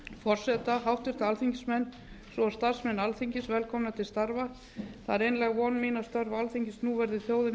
forseta háttvirtir alþingismenn svo og starfsmenn alþingis velkomna til starfa það er einlæg von mín að störf alþingis nú verði þjóðinni